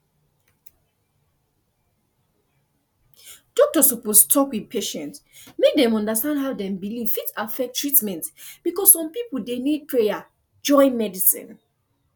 doctor suppose talk with patient make dem understand how dem belief fit affect treatment because some people dey need prayer join medicine